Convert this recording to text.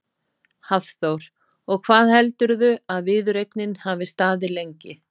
Hafþór: Og hvað heldurðu að viðureignin hafi staðið lengi?